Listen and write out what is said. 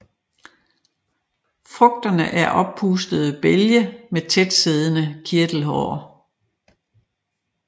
Frugterne er oppustede bælge med tætsiddende kirtelhår